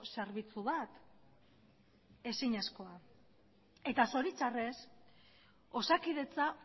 zerbitzu bat ezinezkoa da eta zoritxarrez osakidetza